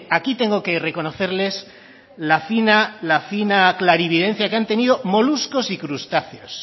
aquí tengo que reconocerles la fina clarividencia que han tenido moluscos y crustáceos